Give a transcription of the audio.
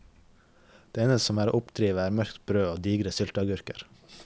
Det eneste som er å oppdrive er mørkt brød og digre sylteagurker.